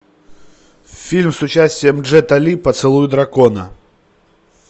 фильм с участием джета ли поцелуй дракона